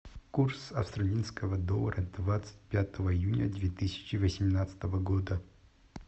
курс австралийского доллара двадцать пятого июня две тысячи восемнадцатого года